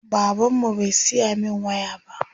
Baban mu bai siya min waya ba.